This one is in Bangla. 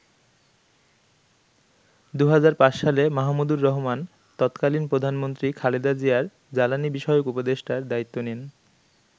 ২০০৫ সালে মাহমুদুর রহমান তৎকালীন প্রধানমন্ত্রী খালেদা জিয়ার জ্বালানি বিষয়ক উপদেষ্টার দায়িত্ব নেন।